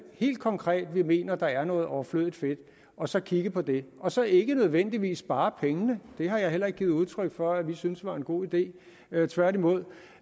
helt konkret er vi mener der er noget overflødigt fedt og så kigge på det og så ikke nødvendigvis spare pengene det har jeg heller ikke givet udtryk for vi syntes var en god idé tværtimod